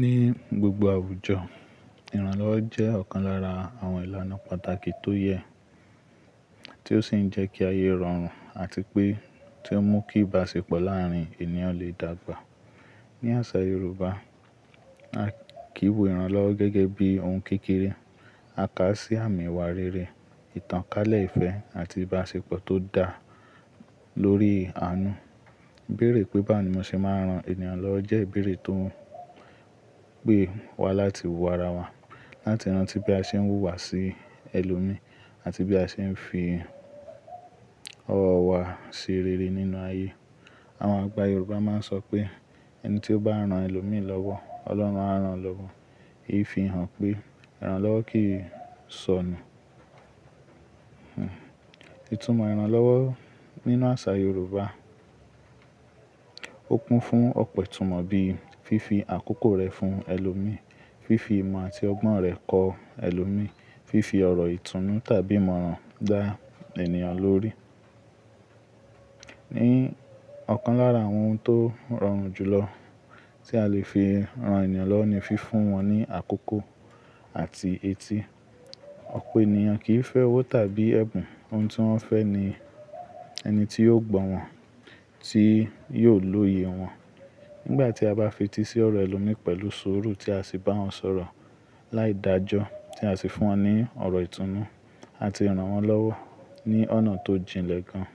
Ni gbogbo àwùjọ, ìrànlọ́wọ́ jẹ́ ọ̀kan lára àwọn ìlànà pàtàkì tó yẹ, tí ó sì ń jẹ́ kí ayé rọrùn àti pé tí ó mú kí ìbáṣepọ̀ láàárín ènìyàn lè dàgbà. Ni àṣà Yorùbá, a kìí wo ìrànlọ́wọ́ gẹ́gẹ́ bí ohun kékeré. A kà á sí àmì ìwà rere, ìtànkálẹ̀ ìfẹ́ àti ìbáṣepọ̀ tó dà lórí àánú. "Bèrè pé bàá ni mo ṣe máa rán ènìyàn lọ́wọ́" jẹ́ ìbéèrè tó ń pé wa láti wo ara wa, láti rántí pé a ṣe ń wùwà sí ẹlòmí àti bí a ṣe ń fi ọwọ́ wa ṣe rere nínú ayé. Àwọn àgbà Yorùbá máa ń sọ pé, "ẹni tí ó bá rán ẹlòmí lọ́wọ́, Ọlọ́run á rán lọ́wọ́." Ìfihàn pé ìrànlọ́wọ́ kì í sọnù. Hmm. Ìtumọ̀ ìrànlọ́wọ́ nínú àṣà Yorùbá kún fún ọ̀pọ̀ ìtumọ̀ bíi fífi àkókò rẹ fún ẹlòmí, fífi ìmọ̀ àti ọgbọ́n rẹ kọ ẹlòmí, fífi ọ̀rọ̀ ìtúnú tàbí ìmọ̀ràn dá ènìyàn lórí. Ni ọ̀kan lára àwọn ohun tó rọrùn jùlọ tí a lè fi ran ènìyàn lọ́wọ́ ni fífún wọn ní àkókò àti etí. Ọ̀pọ̀ ènìyàn kì í fẹ́ owó tàbí ẹ̀bùn. Ohun tí wọ́n fẹ́ ni ẹni tí yóò gbọ́ wọn, tí yóò lóye wọn. Nígbà tí a bá fi etí sí ọ̀rọ̀ ẹlòmí pẹ̀lú sùúrù tí a sì bá wọn sọ̀rọ̀ láìdaájọ́, tí a sì fún wọn ní ọ̀rọ̀ ìtúnú àti ìrànwọ́ lọ́wọ́ ní ọ̀nà tó jìnlẹ̀ gan.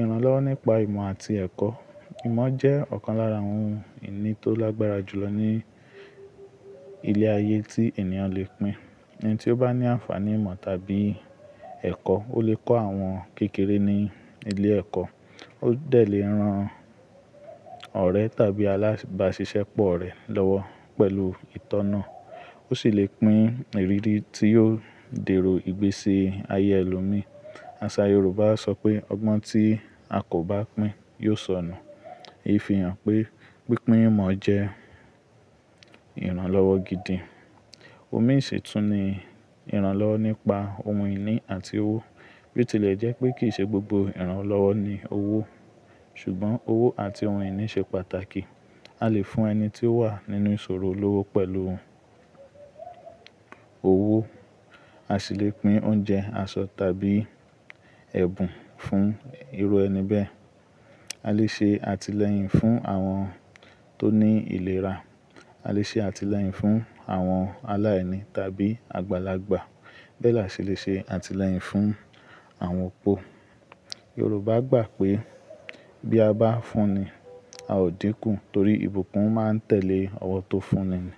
Ìrànlọ́wọ́ nípa ìmọ̀ àti ẹ̀kọ́. Ìmọ̀ jẹ́ ọ̀kan lára ohun ìní tó lágbára jùlọ ní ilé ayé tí ènìyàn lè pín. Ẹni tí ó bá ní àǹfàní ìmọ̀ tàbí ẹ̀kọ́, ó lè kọ́ àwọn kékeré ní ilé ẹ̀kọ́. Ó dẹ̀ lè ran ọ̀rẹ́ tàbí alágbàṣiṣẹ́ pọ̀ rẹ̀ lọ́wọ́ pẹ̀lú ìtọ́nà. Ó sì lè pín ìrírí tí yóò dèrò ìgbésí ayé ẹlòmí. Àṣà Yorùbá á sọ pé, "Ọgbọ́n tí a kò bá pín yóò sọnù." Ìfihàn pé pípín ìmọ̀ jẹ́ ìrànlọ́wọ́ gidi. Omi sì tún ni ìrànlọ́wọ́ nípa ohun ìní àti owó. Bí ó tilẹ̀ jẹ́ pé kì í ṣe gbogbo ìrànlọ́wọ́ ni owó, ṣùgbọ́n owó àti ohun ìní ṣe pàtàkì. A lè fún ẹni tí ó wà nínú ìṣòro olówó pẹ̀lú owó. A sì lè pín oúnjẹ, aṣọ tàbí ẹ̀bùn fún irú ẹni bẹ́ẹ̀. A lè ṣe àtìlẹ́yìn fún àwọn tó ní ìlera. A lè ṣe àtìlẹ́yìn fún àwọn aláìní tàbí àgbàlagbà. Bẹ́ẹ̀ la sì lè ṣe àtìlẹ́yìn fún àwọn opo. Yorùbá gbà pé bí a bá fún ni, a ó díkù torí ìbùkún máa ń tẹ̀lé ọwọ́ tó fún ni.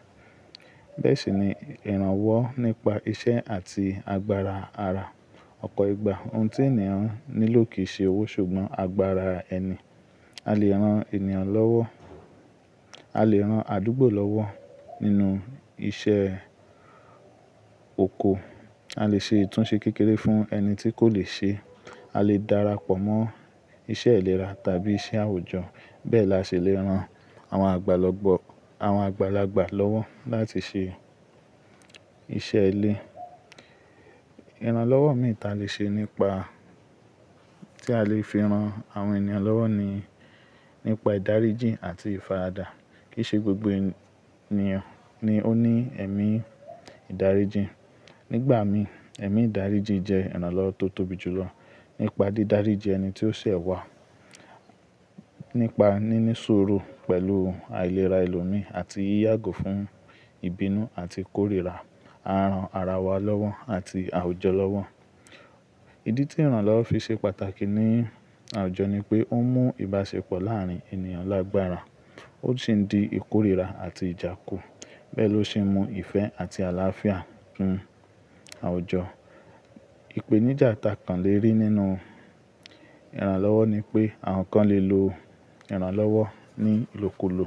Bẹ́ẹ̀ sì ni ìrànwọ́ nípa iṣẹ́ àti agbára ara. Ọ̀pọ̀ ìgbà ohun tí ènìyàn nílò kì í ṣe owó ṣùgbọ́n agbára ẹni. A lè ran ènìyàn lọ́wọ́, a lè ran àdúgbò lọ́wọ́ nínú iṣẹ́ oko. A lè ṣe ìtúnṣe kékeré fún ẹni tí kò le ṣe. A lè darapọ̀ mọ́ iṣẹ́ ìlera tàbí iṣẹ́ àwùjọ. Bẹ́ẹ̀ la sì lè ran àwọn àgbàlagbà lọ́wọ́ láti ṣe iṣẹ́ ilé. Ìrànlọ́wọ́ mìíràn tí a lè fi ran àwọn ènìyàn lọ́wọ́ ni nípa ìdáríjì àti ìfàdà. Kì í ṣe gbogbo ènìyàn ni ó ní ẹ̀mí ìdáríjì. Nígbà mìíràn, ẹ̀mí ìdáríjì jẹ́ ìrànlọ́wọ́ tó tóbi jù lọ. Nípa dídáríjì ẹni tí ó ṣẹ̀ wá, nípa níní sùúrù pẹ̀lú àìlera ẹlòmí àti yíyàgò fún ìbínú àti ìkórìíra, á ran ara wa lọ́wọ́ àti àwùjọ lọ́wọ́. Ìdí tí ìrànlọ́wọ́ fi ṣe pàtàkì ní àwùjọ ni pé ó mú ìbáṣepọ̀ láàárín ènìyàn lágbára. Ó sì ń di ìkórìíra àti ìjà kù. Bẹ́ẹ̀ ló ṣe mú ìfẹ́ àti àlàáfíà fún àwùjọ. Ìpèníjà tá kan lè rí nínú ìrànlọ́wọ́ ni pé àwọn kan lè lo ìrànlọ́wọ́ ní ìlòkulò,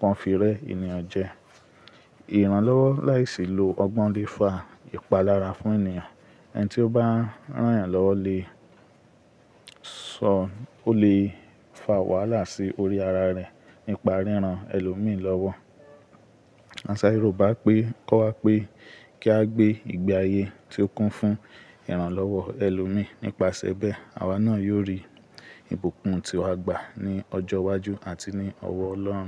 wọ́n fi rẹ́ ènìyàn jẹ. Ìrànlọ́wọ́ láìsí lo ọgbọ́n lè fa ìpalára fún ènìyàn. Ẹni tí ó bá rán ẹ̀yàn lọ́wọ́ lè sọ, ó lè fa wàhálà sí orí ara rẹ̀ nípa ríran ẹlòmí lọ́wọ́. Àṣà Yorùbá kọ́ wa pé kí á gbé ìgbé ayé tí ó kún fún ìrànlọ́wọ́ ẹlòmí nípaṣẹ bẹ́ẹ̀, àwa náà yóò rí ìbùkún tí a gbà ní ọjọ́ iwájú àti ní ọwọ́ Ọlọ́run.